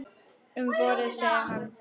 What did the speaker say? Um vorið, segir hann.